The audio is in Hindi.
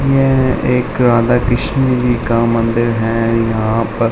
यह एक राधाकृष्ण जी का मंदिर है यहाँ पर।